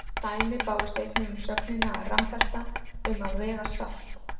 Dæmi bárust einnig um sögnina að rambelta um að vega salt.